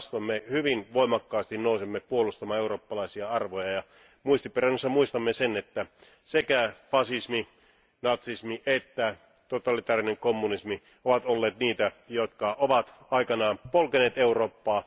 Päinvastoin me hyvin voimakkaasti nousemme puolustamaan eurooppalaisia arvoja ja muistiperinnössä muistamme sen, että sekä fasismi, natsismi että totalitaarinen kommunismi ovat olleet niitä, jotka ovat aikanaan polkeneet Eurooppaa.